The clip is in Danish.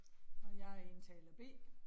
Og jeg indtaler B